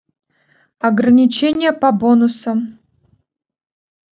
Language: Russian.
ограничение по бонусам